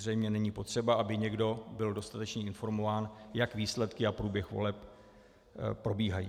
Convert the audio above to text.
Zřejmě není potřeba, aby někdo byl dostatečně informován, jak výsledky a průběh voleb probíhají.